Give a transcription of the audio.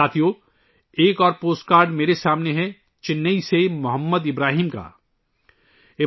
ساتھیو ، میرے سامنے چنئی سے محمد ابراہیم کا ایک اور پوسٹ کارڈ ہے